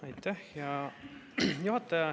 Aitäh, hea juhataja!